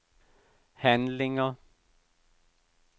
handlinger